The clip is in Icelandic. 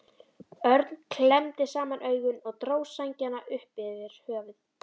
Örn klemmdi saman augun og dró sængina upp yfir höfuð.